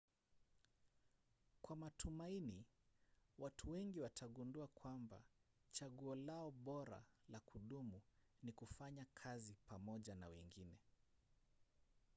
kwa matumaini watu wengi watagundua kwamba chaguo lao bora la kudumu ni kufanya kazi pamoja na wengine